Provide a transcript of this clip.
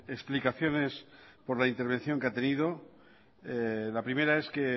explicaciones por la intervención que ha tenido la primera es que